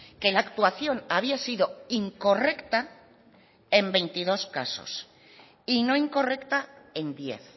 que la actuación había sido incorrecta en veintidós casos y no incorrecta en diez